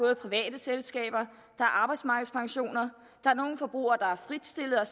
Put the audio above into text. er private selskaber der er arbejdsmarkedspensioner nogle forbrugere er frit stillede og